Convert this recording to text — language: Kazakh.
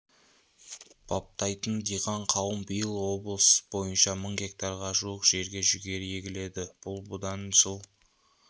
баптайтын диқан қауым биыл облыс бойынша мың гектарға жуық жерге жүгері егіледі бұл бұдан жыл